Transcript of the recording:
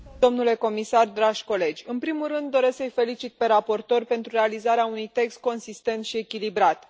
Doamnă președintă, domnule comisar, dragi colegi, în primul rând doresc să i felicit pe raportori pentru realizarea unui text consistent și echilibrat.